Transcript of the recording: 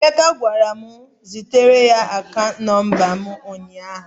Emeka gwara m zitere ya akaant nọmba m ụnyahụ.